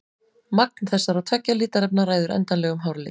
Magn þessara tveggja litarefna ræður endanlegum hárlit.